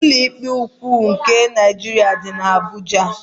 Ụlọikpe ukwu nke Naịjirịa dị n'Abuja.